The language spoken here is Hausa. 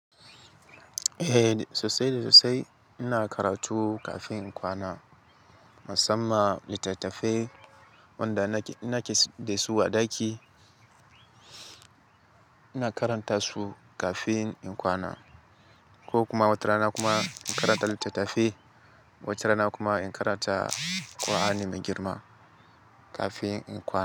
Eh sosai da sosai ina karatu kafin in kwana. Musamman littattafai wanda nake da su a ɗaki ina karanta su kafin in kwana ko kuma wata rana kuma in karanta littattafai wata rana kuma in karanta ƙu'aani mai girma kafin in kwana.